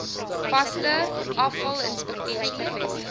vaste afvalinspekteurs bevestig